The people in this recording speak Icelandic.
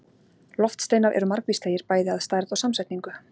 Loftsteinar eru margvíslegir, bæði að stærð og samsetningu.